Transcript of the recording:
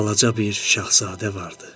Balaca bir şahzadə vardı.